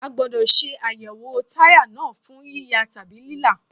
A gbódọ̀ ṣe àyẹ̀wò táyà náà fún yíya tàbí lílá.